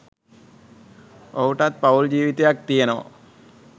ඔහුටත් පවුල් ජීවිතයක්‌ තියෙනවා.